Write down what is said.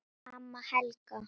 Amma Helga.